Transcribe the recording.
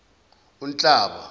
unhlaba